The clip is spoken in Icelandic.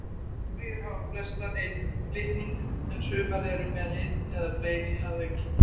Bakteríur hafa flestar einn litning en sumar eru með einn eða fleiri að auki.